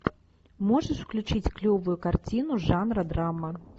можешь включить клевую картину жанра драма